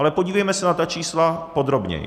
Ale podívejme se na ta čísla podrobněji.